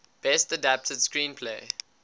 best adapted screenplay